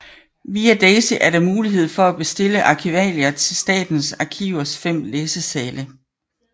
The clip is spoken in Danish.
Via daisy er der mulighed for at bestille arkivalier til Statens Arkivers fem læsesale